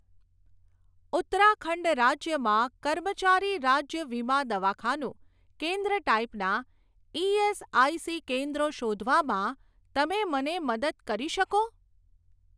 ઉત્તરાખંડ રાજ્યમાં કર્મચારી રાજ્ય વીમા દવાખાનું કેન્દ્ર ટાઈપનાં ઇએસઆઇસી કેન્દ્રો શોધવામાં તમે મને મદદ કરી શકો?